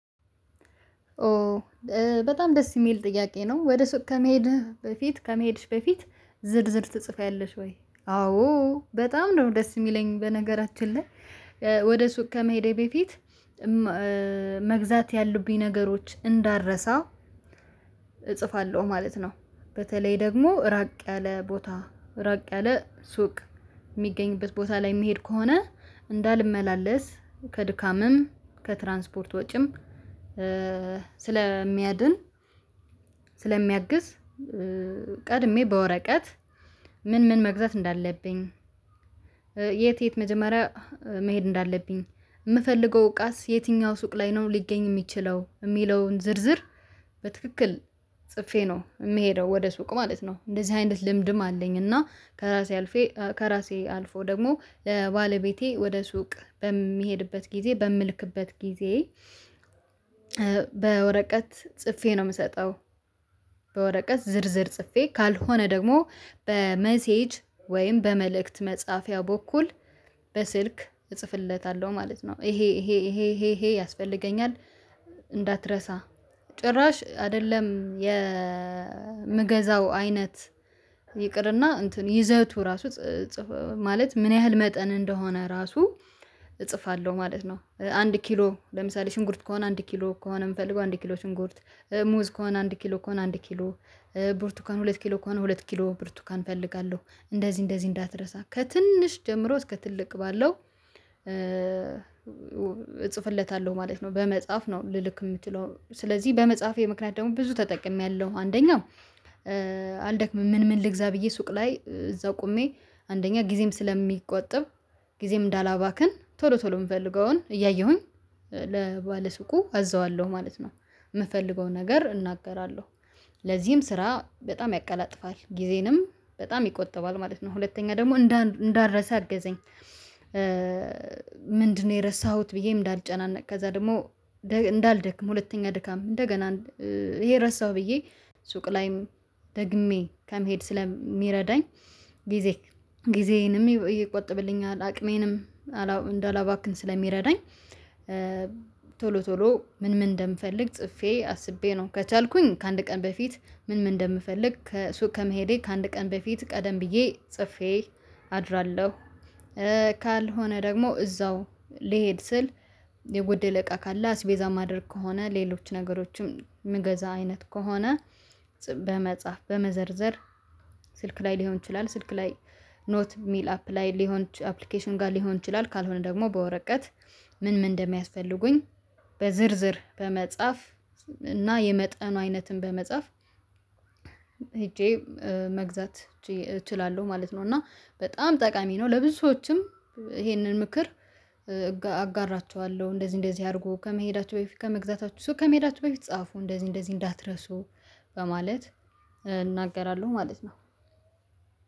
ኦ በጣም ደስ የሚል ጥያቄ ነው። ወደ ሱቅ ከመሄድህ በፊት ከመሄድሽ በፊት ዝርዝር ትፅፊያለሽወይ? አዎ በጣም ነው ደስ የሚለኝ በነገራችን ላይ ወደ ሱቅ ከመሄዴ በፊት መግዛት ያሉብኝ ነገሮች እንዳረሳ እጽፋለሁ ማለት ነው። በተለይ ደግሞ ራቅ ያለ ቦታ ራቅ ያለ ሱቅ የሚገኝበት ቦታ ላይ የሚሄድ ከሆነ እንዳልመላለስ ከድካምም ከትራንስፖርት ወጪም ስለሚያድን ስለሚያግዝ። ቀድሜ በወረቀት ምን ምን መግዛት እንዳለብኝ የት የት መጀመሪያ መሄድ እንዳለብኝ የምፈልገው እቃስ የትኛው ሱቅ ላይ ነው ሊገኝ የሚችለው የሚለውን ዝርዝር በትክክል ጽፌ ነው የምሄደው ወደ ሱቅ ማለት ነው። እንደዚህ አይነት ልምድም አለኝ እና ከራሴ አልፌ ከራሴ አልፎ ደግሞ ለባለቤቴ ወደ ሱቅ በሚሄድበት ጊዜ በምልክበት ጊዜ በወረቀት ጽፌ ነው የምሰጠው በወረቀት ዝርዝር ጽፌ ካልሆነ ደግሞ በመሴጅ ወይም በመልእክት መጽሐፊያ በኩል በስልክ እጽፍለታለሁ ማለት ነው። ይሄ ይሄ ይሄ ይሄ ያስፈልገኛል እንዳትረሳ ጭራሽ አይደለም የምገዛው አይነት ይቅርና እንትን ይዘቱ ራሱ ጽፈው ማለት ምን ያህል መጠን እንደሆነ ራሱ እጽፋለሁ ማለት ነው። አንድ ኪሎ ለምሳሌ ሽንኩርት ከሆነ አንድ ኪሎ ከሆነ የምፈልገው አንድ ኪሎ ሽንኩርት ሙዝ ከሆነ አንድ ኪሎ ከሆነ አንድ ኪሎ ቡርቱካን ሁለት ኪሎ ከሆነ ሁለት ኪሎ ብርቱካን እፈልጋለሁ እንደዚህ እንደዚህ እንዳትረሳ ከትንሽ ጀምሮ እስከ ትልቅ ባለው እጽፍለታለሁ ማለት ነው። በመጽሐፍ ነው ልልክ የምችለው ስለዚህ በመፃፌ ምክንያት ደግሞ ብዙ ተጠቅሜያለሁ። አንደኛው አልደክምም ምን ምን ልግዛ ብዬ ሱቅ ላይ እዛ ቆሜ አንደኛ ጊዜም ስለሚቆጠብ ጊዜም እንዳላባክን ቶሎ ቶሎ የምፈልገውን እያየሁኝ ለባለሱቁ አዘዋለሁ ማለት ነው። የምፈልገውን ነገር እናገራለሁ ለዚህም ስራ በጣም ያቀላጥፋል ጊዜንም በጣም ይቆጥባል ማለት ነው። ሁለተኛ ደግሞ እንዳረሳህ አገዘኝ። ምንድነው የረሳሁት ብዬ እንዳልጨናነቅ ከዛ ደግሞ እንዳልደክም ሁለተኛ ድካም እንደገና ይሄ ረሳሁ ብዬ ሱቅ ላይም ደግሜ ከመሄድ ስለሚረዳኝ ጊዜ ጊዜዬንም ይቆጥብልኛል። አቅሜንም እንዳላባክን ስለሚረዳኝ ቶሎ ቶሎ ምን ምን እንደምፈልግ ጽፌ አስቤ ነው። ከቻልኩኝ ከአንድ ቀን በፊት ምን ምን እንደምፈልግ ከሱቅ ከመሄዴ ከአንድ ቀን በፊት ቀደም ብዬ ጽፌ አድራለሁ። ካልሆነ ደግሞ እዛው ልሄድ ስል የጎደለ እቃ ካለ አስቤዛ ማድረግ ከሆነ ሌሎች ነገሮችም ምገዛ አይነት ከሆነ በመጻፍ በመዘርዘር ስልክ ላይ ሊሆን ይችላል ስልክ ላይ ኖት ሚል አፕላይ ሊሆን አፕሊኬሽን ጋር ሊሆን ይችላል። ካልሆነ ደግሞ በወረቀት ምን ምን እንደሚያስፈልጉኝ በዝርዝር በመጻፍ እና የመጠኑ አይነትን በመጻፍ ሄጄ መግዛት እችላለሁ ማለት ነው። እና በጣም ጠቃሚ ነው ለብዙ ሰዎችም ይሄንን ምክር አጋራቸዋለሁ እንደዚህ እንደዚህ አድርጉ ከመሄዳቸው በፊት ከመግዛታቸው ሱቅ ከመሄዳቸው በፊት ጻፉ እንደዚህ እንደዚህ እንዳትረሱ በማለት እናገራለሁ። ማለት ነው።